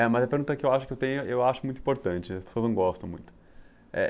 É. Mas a pergunta que eu acho que eu tenho, eu acho muito importante, as pessoas não gostam muito.